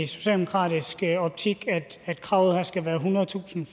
socialdemokratiske optik at kravet her skal være ethundredetusind